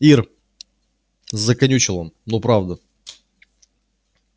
ир заканючил он ну правда